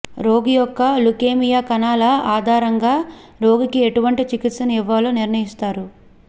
రోగి యొక్క లుకేమియా కణాల ఆధారంగ రోగికి ఎటువంటి చికిత్సను ఇవ్వాలో నిర్ణయిస్తారు